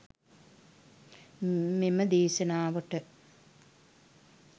මෙම දේශනාවට